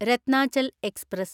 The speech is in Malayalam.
രത്നാചൽ എക്സ്പ്രസ്